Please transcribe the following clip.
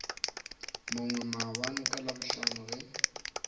mongwe maabane ka labohlano ge